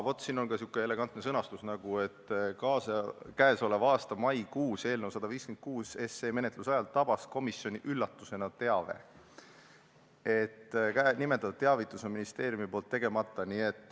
Nii, siin on sihuke elegantne sõnastus: "Käesoleva aasta maikuus, eelnõu 156 SE menetluse ajal, tabas komisjoni üllatusena teave, et nimetatud teavitus on ministeeriumi poolt tegemata.